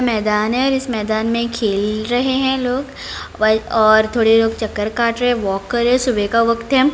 मैदान है इस मैदान में खेल रहे है लोग और थोड़े लोग चक्कर काट रहे हैं वॉक कर रहे हैं सुबह का वक्त है।